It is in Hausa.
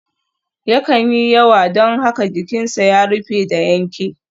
Yakan yi yawa don haka jikinsa ya rufe da yanke.